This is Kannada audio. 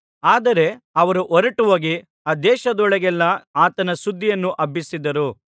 ಆದರೆ ಅವರು ಹೊರಟುಹೋಗಿ ಆ ದೇಶದೊಳಗೆಲ್ಲಾ ಆತನ ಸುದ್ದಿಯನ್ನು ಹಬ್ಬಿಸಿದರು